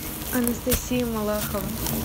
анастасия малахова